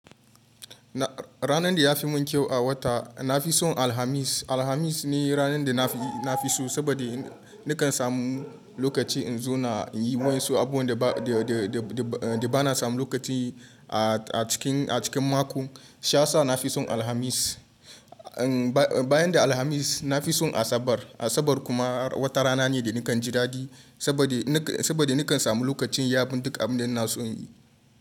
Ranan da ya fi mun kyau a wata na fi son Alhamis. Alhamis ne ranan da na fi so saboda in nikan samu lokaci in zona inyi wa yansu abubuwan da ba na samun lokaci a cikin mako. Casa sa na fi son Alhamis. Bayan da Alhamis na fi son Asabar. Asabar kuma wata rana ne da nikan ji dadi saboda saboda nikan samu lokacin yin abun duk abin da na so in yi.